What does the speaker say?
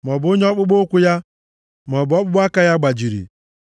maọbụ onye ọkpụkpụ ụkwụ ya maọbụ ọkpụkpụ aka ya gbajiri,